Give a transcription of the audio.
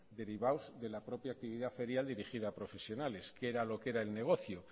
derivados de la propia actividad ferial dirigida a profesionales que era lo que era el negocio